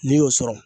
N'i y'o sɔrɔ